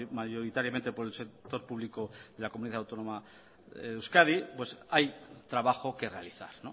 mayoritariamente por el sector público de la comunidad autónoma de euskadi pues hay trabajo que realizar